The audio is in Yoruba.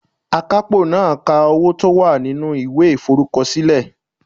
Akapo naa ka owo to wa ninu iwe iforukosile